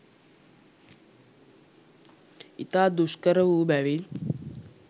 ඉතා දුෂ්කර වූ බැවින්